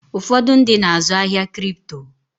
Ụfọdụ ndị na-azụ ahịa Kripto.